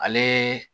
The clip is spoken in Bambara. Ale